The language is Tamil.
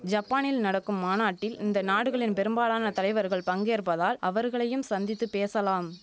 ஜப்பானில் நடக்கும் மாநாட்டில் இந்த நாடுகளின் பெரும்பாலான தலைவர்கள் பங்கேற்பதால் அவர்களையும் சந்தித்து பேசலாம்